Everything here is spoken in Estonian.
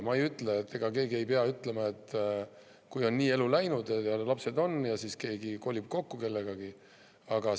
Ma ei ütle, ega keegi ei pea ütlema midagi selle kohta, kui kellegi elu on nii läinud, kui on lapsed ja siis keegi kolib kellegagi kokku.